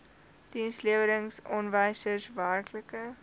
dienslewerings aanwysers werklike